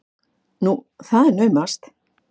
Nú, það er naumast!